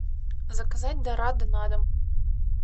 заказать дорадо на дом